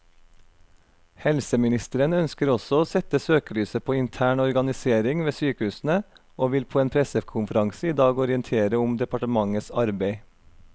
Helseministeren ønsker også å sette søkelyset på intern organisering ved sykehusene, og vil på en pressekonferanse i dag orientere om departementets arbeid.